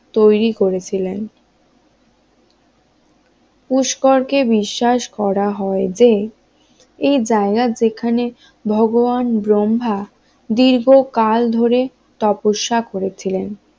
তৈরি করেছিলেন পুষ্করকে বিশ্বাস করা হয় যে এই জায়গা যেখানে ভগবান ব্রহ্মা, দীর্ঘকাল ধরে তপস্যা করেছিলেন